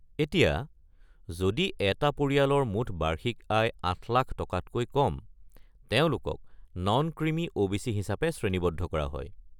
এতিয়া, যদি এটা পৰিয়ালৰ মুঠ বাৰ্ষিক আয় ৮ লাখ টকাতকৈ কম, তেওঁলোকক নন-ক্ৰিমি ও.বি.চি. হিচাপে শ্ৰেণীবদ্ধ কৰা হয়।